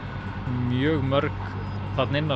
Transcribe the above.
mjög mörg þarna inná